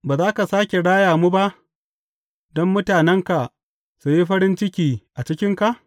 Ba za ka sāke raya mu ba, don mutanenka su yi farin ciki a cikinka?